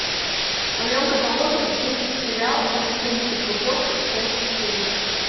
в твоем каталоге есть сериал полицейский с рублевки часть четыре